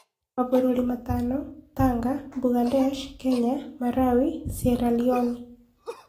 Mabũruri matano: Tanga, Mbugandesh, Kenya, Marawi, Sieraloni